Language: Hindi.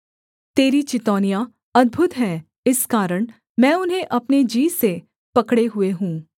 तेरी चितौनियाँ अद्भुत हैं इस कारण मैं उन्हें अपने जी से पकड़े हुए हूँ